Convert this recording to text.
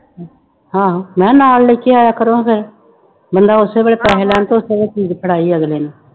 ਹਾਂ ਮੈਂ ਕਿਹਾ ਨਾਲ ਲੈ ਕੇ ਆਇਆ ਕਰੋ ਫਿਰ ਮੁੰਡਾ ਉਸੇ ਵੇਲੇ ਪੈਸੇ ਲੈਣ ਤੇ ਉਸੇ ਵੇਲੇ ਚੀਜ਼ ਫੜਾਏ ਅਗਲੇ ਨੂੰ